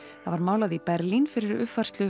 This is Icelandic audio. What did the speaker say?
það var málað í Berlín fyrir uppfærslu